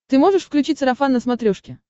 ты можешь включить сарафан на смотрешке